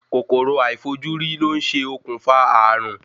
Kòkòrò aifojuri ló ń ṣe okùnfà ààrùn.